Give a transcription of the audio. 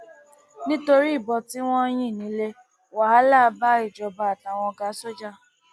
nítorí ìbọn tí wọn yìn ní le wàhálà bá ìjọba àtàwọn ọgá sójà